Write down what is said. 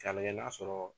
K'a lajɛ n'a sɔrɔ